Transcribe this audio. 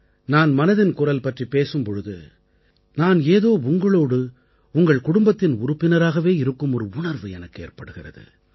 நான் மனதின் குரல் பற்றிப் பேசும் பொழுது நான் ஏதோ உங்களோடு உங்கள் குடும்பத்தின் உறுப்பினராகவே இருக்கும் ஒரு உணர்வு எனக்கு ஏற்படுகிறது